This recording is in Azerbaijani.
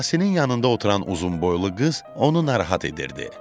Yasinın yanında oturan uzunboylu qız onu narahat edirdi.